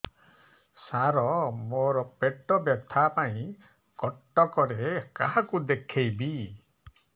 ସାର ମୋ ର ପେଟ ବ୍ୟଥା ପାଇଁ କଟକରେ କାହାକୁ ଦେଖେଇବି